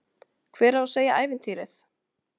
Hver á að segja ævintýrið?